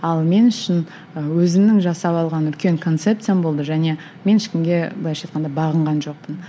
ал мен үшін і өзімнің жасап алған үлкен концепциям болды және мен ешкімге былайша айтқанда бағынған жоқпын